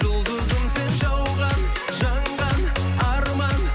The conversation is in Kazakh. жұлдызым сен жауған жанған арман